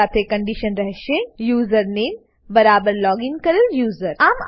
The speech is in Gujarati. જે સાથે કંડીશન રહેશે યુઝરનેમ યુઝરનેમ બરાબર લોગીન કરેલ યુઝર